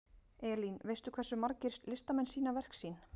Elín, veistu hversu margir listamenn sýna verk sín?